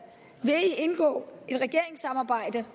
indgå i et regeringssamarbejde